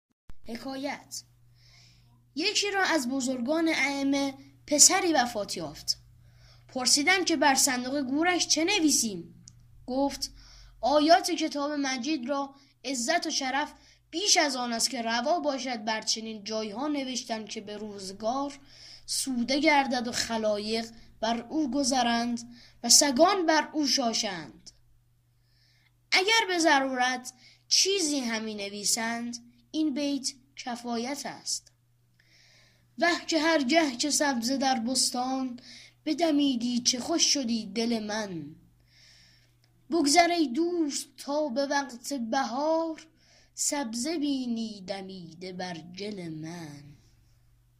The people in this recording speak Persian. یکی را از بزرگان ایمه پسری وفات یافت پرسیدند که بر صندوق گورش چه نویسیم گفت آیات کتاب مجید را عزت و شرف بیش از آن است که روا باشد بر چنین جایها نوشتن که به روزگار سوده گردد و خلایق بر او گذرند و سگان بر او شاشند اگر به ضرورت چیزی همی نویسند این بیت کفایت است وه که هر گه که سبزه در بستان بدمیدی چه خوش شدی دل من بگذر ای دوست تا به وقت بهار سبزه بینی دمیده بر گل من